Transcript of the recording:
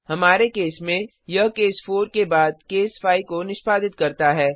हमारे केस में यह केस 4 के बाद केस 5 को निष्पादित करता है